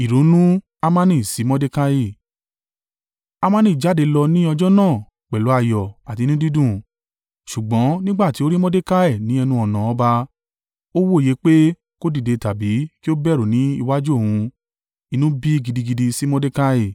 Hamani jáde lọ ní ọjọ́ náà pẹ̀lú ayọ̀ àti inú dídùn. Ṣùgbọ́n nígbà tí ó rí Mordekai ní ẹnu-ọ̀nà ọba, ó wòye pé kò dìde tàbí kí ó bẹ̀rù ní iwájú òun, inú bí i gidigidi sí Mordekai.